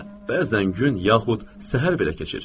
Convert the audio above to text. Bəzən gün yaxud səhər belə keçir.